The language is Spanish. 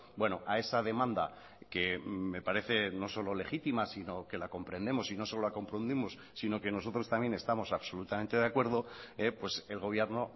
bueno a esa demanda que me parece no solo legítima sino que la comprendemos y no solo la comprendimos sino que nosotros también estamos absolutamente de acuerdo el gobierno